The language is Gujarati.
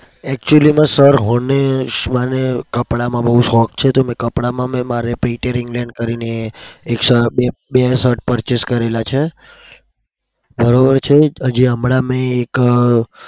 actually માં sir હું મને કપડામાં બઉ શોખ છે. તો કપડામાં મેં એક printer add કરીને એક બે purchase કરેલા છે.